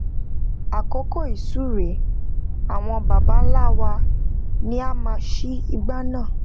àkókò ìsúre awon baba nla wa ni a máa n ṣí igbá náà